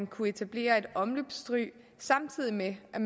kunne etableres et omløbsstryg samtidig med at